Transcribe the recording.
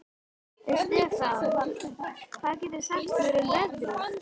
Estefan, hvað geturðu sagt mér um veðrið?